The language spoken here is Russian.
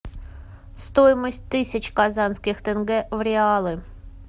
стоимость тысяч казанских тенге в реалы